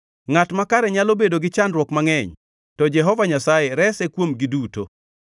Ngʼat makare nyalo bedo gi chandruok mangʼeny, to Jehova Nyasaye rese kuomgi duto;